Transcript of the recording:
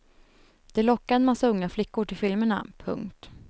De lockar en massa unga flickor till filmerna. punkt